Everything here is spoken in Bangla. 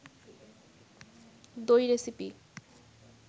দই রেসিপি